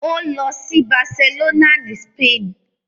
Ó lọ sí Barcelona ni Spain.